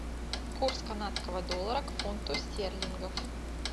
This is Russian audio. курс канадского доллара к фунту стерлингов